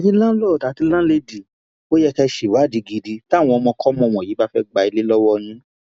ẹyin láǹlọọdù àti láńlẹdì ò yẹ kẹ ẹ ṣèwádìí gidi táwọn ọmọkọmọ wọnyí bá fẹẹ gba ilé lọwọ yín